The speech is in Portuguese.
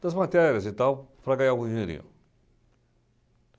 das matérias e tal, para ganhar algum dinheirinho.